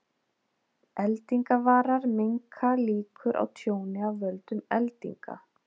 Eldingavarar minnka líkur á tjóni af völdum eldinga.